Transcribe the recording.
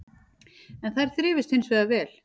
En þær þrifust hins vegar vel